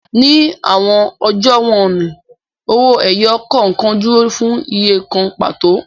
Ni awọn ọjọ wọnni, owoẹyọ kọọkan duro fun iye kan pato